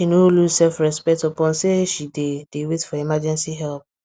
she no lose self respect upon say she dey dey wait for emergency help